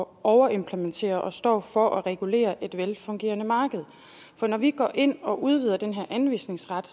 overimplementere og står for at regulere et velfungerende marked for når vi går ind og udvider den her anvisningsret